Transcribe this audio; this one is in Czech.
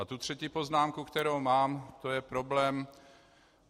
A ta třetí poznámku, kterou mám, to je problém.